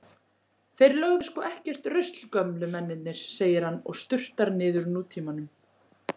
Þeir lögðu sko ekkert rusl gömlu mennirnir, segir hann og sturtar niður Nútímanum.